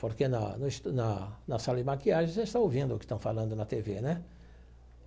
Porque, na no estu na na sala de maquiagem, você está ouvindo o que estão falando na tê vê né?